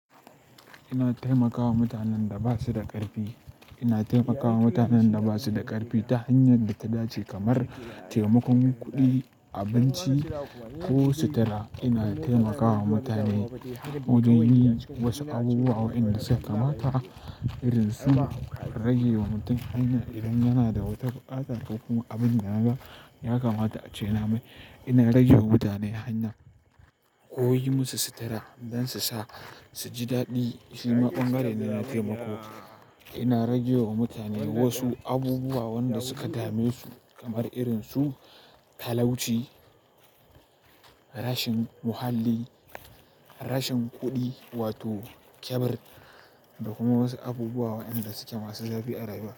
Ina taimakawa mutanen da ba su da ƙarfi, ina taimakawa mutanen da ba su da ƙarfi ta hanyar da ta dace kamar taimakon kuɗi, abinci ko sutura. Ina taimakawa mutane wajen yin wasu abubuwa waɗanda suka kamata irin su rage wa mutum ainihi idan yana da wata buƙata ko kuma abin da ya kamata a ce namai. Ina rage wa mutane hanya ko yi musu sutura don su sa su ji daɗi. Shi ma bangare ne na taimako. Ina rage wa mutane wasu abubuwa wanda suka dame su kamar irin su talauci, rashin muhalli, rashin kuɗi wato kyabar da kuma wasu abubuwa waɗanda suke masu zafi a rayuwa.